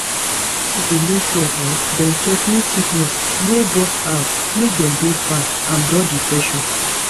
pipo go make sure um dem check mate sickness wey burst out make dem dey fine and dodge infection